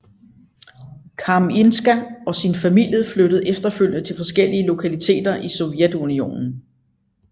Kamińska og sin familie flyttede efterfølgende til forskellige lokaliteter i Sovjetunionen